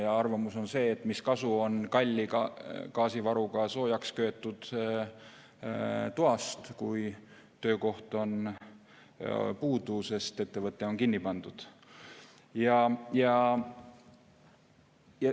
See arvamus on see, et mis kasu on kalli gaasivaruga soojaks köetud toast, kui töökoht on puudu, sest ettevõte on kinni pandud.